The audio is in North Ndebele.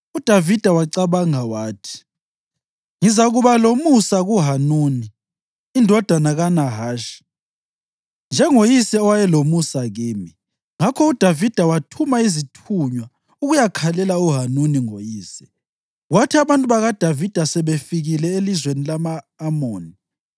UDavida wacabanga wathi, “Ngizakuba lomusa kuHanuni indodana kaNahashi, njengoyise owayelomusa kimi.” Ngakho uDavida wathuma izithunywa ukuyakhalela uHanuni ngoyise. Kwathi abantu bakaDavida sebefikile elizweni lama-Amoni,